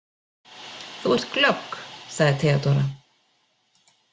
Þú ert glögg, sagði Theodóra.